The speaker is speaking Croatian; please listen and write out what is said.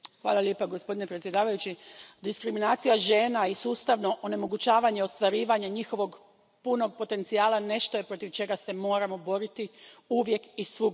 Poštovani predsjedavajući, diskriminacija žena i sustavno onemogućavanje ostvarivanja njihova punog potencijala nešto je protiv čega se moramo boriti, uvijek i svugdje.